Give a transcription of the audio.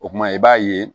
O kuma i b'a ye